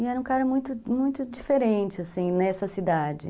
E era um cara muito, muito diferente, assim, nessa cidade.